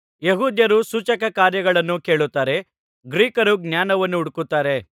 ಯೆಹೂದ್ಯರು ಸೂಚಕಕಾರ್ಯಗಳನ್ನು ಕೇಳುತ್ತಾರೆ ಗ್ರೀಕರು ಜ್ಞಾನವನ್ನು ಹುಡುಕುತ್ತಾರೆ